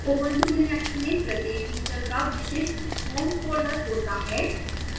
ubuntu linux में प्रत्येक user का विशिष्ट home folder होता है